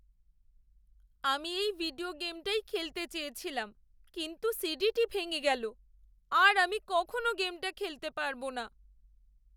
আমি এই ভিডিও গেমটাই খেলতে চেয়েছিলাম কিন্তু সিডিটি ভেঙে গেল। আর আমি কখনও গেমটা খেলতে পারব না।